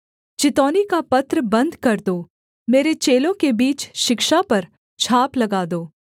चितौनी का पत्र बन्द कर दो मेरे चेलों के बीच शिक्षा पर छाप लगा दो